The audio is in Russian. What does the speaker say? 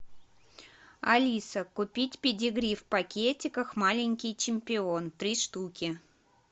алиса купить педигри в пакетиках маленький чемпион три штуки